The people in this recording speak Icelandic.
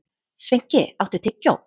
Sveinki, áttu tyggjó?